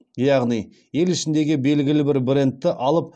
яғни ел ішіндегі белгілі бір брендті алып